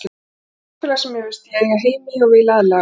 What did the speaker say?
Þetta er samfélag sem mér finnst ég eiga heima í og vil aðlagast.